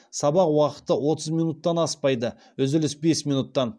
сабақ уақыты отыз минуттан аспайды үзіліс бес минуттан